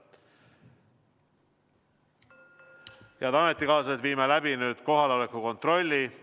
Head ametikaaslased, viime nüüd läbi kohaloleku kontrolli.